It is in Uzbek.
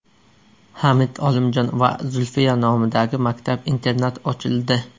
Hamid Olimjon va Zulfiya nomidagi maktab-internat ochildi.